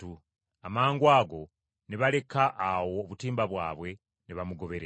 Amangwago ne baleka awo obutimba bwabwe, ne bamugoberera.